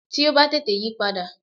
Tí ó bá tètè yípadà